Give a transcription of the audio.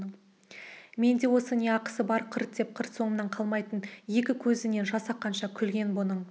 менде осы не ақысы бар қырт деп қыр соңымнан қалмайтын екі көзінен жас аққанша күлген бұның